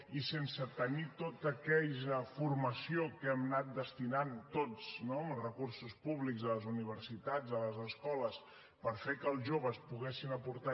i sense tenir tota aquella formació que hem anat destinant tots amb els recursos públics a les universitats a les escoles per fer que els joves poguessin aportar